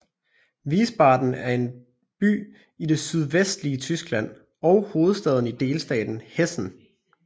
Wiesbaden er en by i det sydvestlige Tyskland og hovedstad i delstaten Hessen